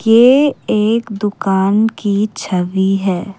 ये एक दुकान की छवि है।